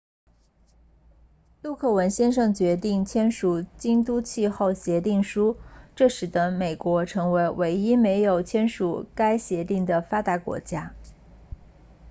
陆克文先生决定签署京都气候议定书这使得美国成为唯一没有签署该协议的发达国家